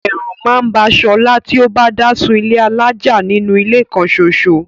Ẹ̀rù máà ń ba Solá ti o bá dá sun ilé alájà nínú ilé kan soso.